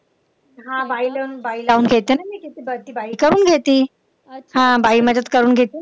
हा बाई लावून बाई लावून घेते ना मी किती बाई करून घेती. हा बाई मदत करून घेती ना माझी.